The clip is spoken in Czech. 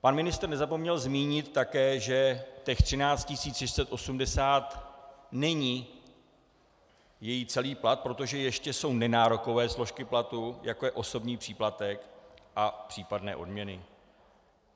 Pan ministr nezapomněl zmínit také, že těch 13 680 není její celý plat, protože jsou ještě nenárokové složky platu, jako je osobní příplatek a případné odměny.